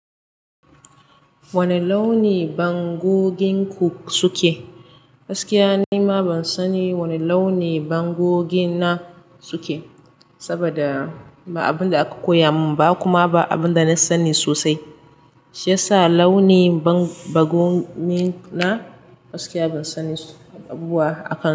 Wane launi bangogin ku suke? Gaskiya nima ban sani wane launi bangogi na suke. Saboda ba abin da aka koya mun ba kuma ba abin da na sani sosai. Shi yasa launi bangogin na gaskiya ban sani abubuwa akai.